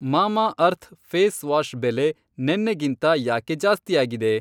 Mamaearth face wash ಬೆಲೆ ನೆನ್ನೆಗಿಂತ ಯಾಕೆ ಜಾಸ್ತಿಯಾಗಿದೆ?